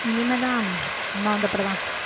இனிமேதான் அம்மா வந்தப்புறம்தான்